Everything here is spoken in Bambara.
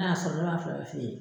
y'a sɔrɔ ne b'a fila bɛɛ feere.